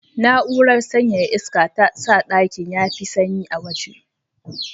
Na'urar sanyaya iska ta sa ɗakin ya fi sanyi a waje.